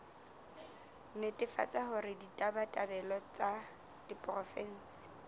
netefatsa hore ditabatabelo tsa diporofensi